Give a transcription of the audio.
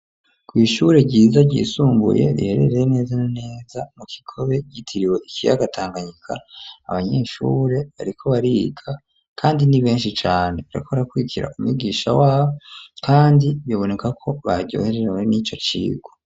kw'ishure ryiza ryisumbuye riherereye neza neza mu Kigobe ryitiriwe ikiyaga Tanganyika abanyeshure bariko bariga kandi ni beshi cane bariko barakwirira umwigisha wabo kandi biboneka ko baryoherewe nico cirwa.